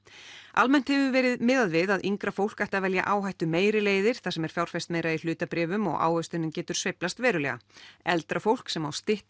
almennt hefur verið miðað við að yngra fólk ætti að velja áhættumeiri leiðir þar sem er fjárfest meira í hlutabréfum og ávöxtunin getur sveiflast verulega eldra fólk sem á styttra